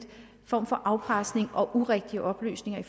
form for afpresning og urigtige oplysninger